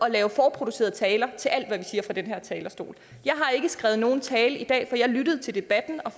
at lave forproducerede taler til alt hvad vi siger fra den her talerstol jeg har ikke skrevet nogen tale til i dag for jeg lyttede til debatten og